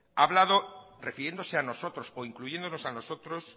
ha hablado refiriéndose a nosotros o incluyéndonos a nosotros